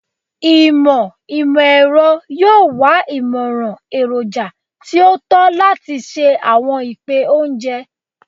Imọ imọ-ẹrọ yoo wa imọran eroja ti o tọ lati ṣe awọn ipẹ ounjẹ